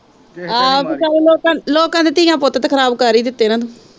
ਆਹੋ ਲੋਕਾਂ ਦੇ ਧੀਆਂ ਪੁੱਤ ਤੇ ਖਰਾਬ ਕਰ ਈ ਦਿੱਤੇ ਨਾ ਤੂੰ